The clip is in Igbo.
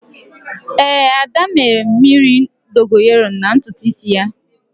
Éè, Ada mee mmiri Dogonyaro na ntutu isi ya